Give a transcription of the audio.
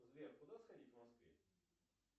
сбер куда сходить в москве